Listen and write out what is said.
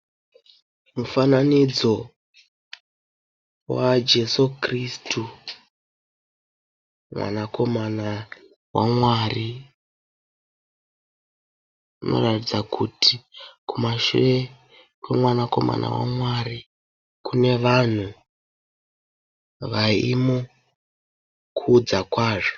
mufananidzo wajesu kristu mwanakomana wamwari. Unoratidza kuti kumashure kwemwana komana wamwari kunevanhu vayimukudza kwazvo.